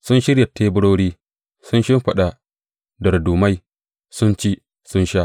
Sun shirya teburori, sun shimfiɗa dardumai, sun ci, sun sha!